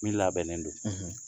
Min labɛnnen don